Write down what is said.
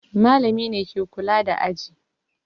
Malami ne ke kula da aji.